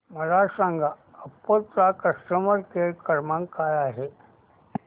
मला सांगा ओप्पो चा कस्टमर केअर क्रमांक काय आहे